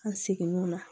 An segin' o la